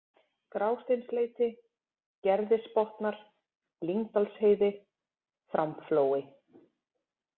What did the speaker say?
Grásteinsleiti, Gerðisbotnar, Lyngdalsheiði, Framflói